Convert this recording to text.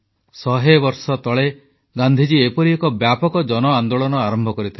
ଶହେବର୍ଷ ତଳେ ଗାନ୍ଧୀଜୀ ଏପରି ଏକ ବ୍ୟାପକ ଜନଆନ୍ଦୋଳନ ଆରମ୍ଭ କରିଥିଲେ